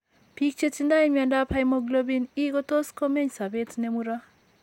Biik che tindo mnyandoap hemoglobin E ko tos' ko meny' sobet ne muro.